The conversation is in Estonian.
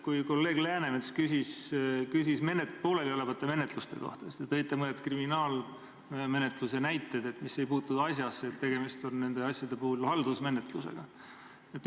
Kui kolleeg Läänemets küsis pooleliolevate menetluste kohta, siis te tõite mõned kriminaalmenetluse näited, et need ei puutunud asjasse, et tegemist on nende puhul haldusmenetlusega.